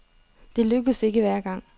Det lykkes ikke hver gang.